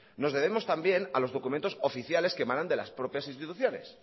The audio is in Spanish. nos debemos también a los documentos oficiales que emanan de las propias instituciones